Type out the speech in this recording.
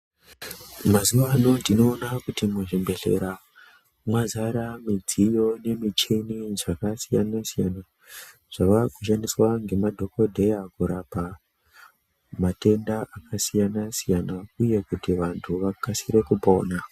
Mazuwa ano tinoona kuti muzvi bhedhlera, mwazara midziyo nemichini dzakasiyana-siyana, zvava kushandiswa ngema dhokodheya kurapa matenda akasiyana-siyana uye kuti vantu vakasire kupona.